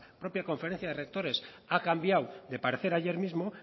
propia conferencia de rectores ha cambiado de parecer ayer mismo